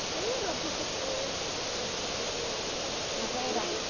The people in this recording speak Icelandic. Guð geymi þig, pabbi minn.